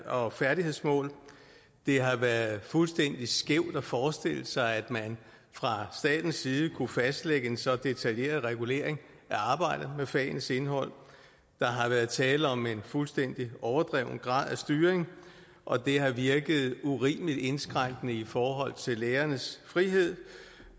og færdighedsmål det har været fuldstændig skævt at forestille sig at man fra statens side kunne fastlægge en så detaljeret regulering af arbejdet med fagenes indhold der har været tale om en fuldstændig overdreven grad af styring og det har virket urimeligt indskrænkende i forhold til lærernes frihed